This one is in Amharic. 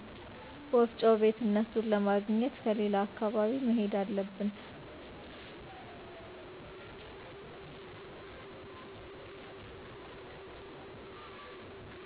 ወፍጮ ቤት እነሡን ለማግኘት ከሌላ አካባቢ መሄድ አለብን